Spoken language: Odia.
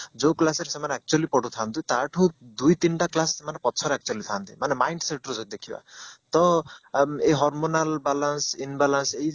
ଯୋଉ class ରେ ସେମାନେ actually ପଢୁଥାନ୍ତି ତାଠୁ ଦୁଇ ତିନିଟା class ସେମାନେ ପଛରେ actually ଥାଆନ୍ତି ମାନେ mind set ରୁ ଯଦି ଦେଖିବା ତ ଏଇ hormonal balance imbalance